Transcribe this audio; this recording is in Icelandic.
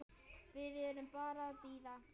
Við erum bara að bíða.